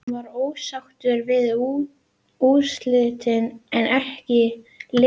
Hann var ósáttur við úrslitin en en ekki liðið.